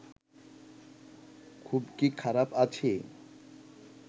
খুব কি খারাপ আছি